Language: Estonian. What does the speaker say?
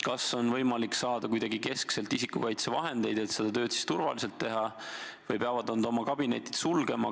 Kas on võimalik saada kuidagi keskselt isikukaitsevahendeid, et seda tööd turvaliselt teha, või peavad nad oma kabinetid sulgema?